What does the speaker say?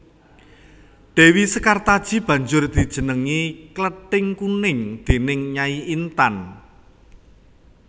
Dèwi Sekartaji banjur dijenengi Klething Kuning déning Nyai Intan